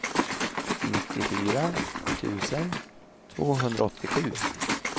nittiofyra tusen tvåhundraåttiosju